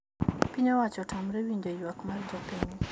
Piny owacho otamre winjo ywak mar jopiny